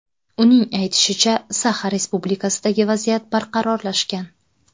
Uning aytishicha, Saxa Respublikasidagi vaziyat barqarorlashgan.